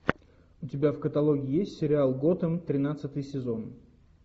у тебя в каталоге есть сериал готэм тринадцатый сезон